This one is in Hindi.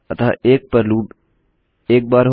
अतः 1 पर लूप एक बार हो